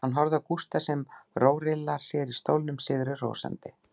Hann horfir á Gústa sem rórillar sér á stólnum, sigri hrósandi.